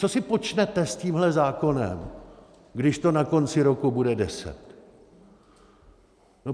Co si počnete s tímhle zákonem, když to na konci roku bude deset?